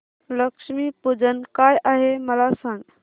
लक्ष्मी पूजन काय आहे मला सांग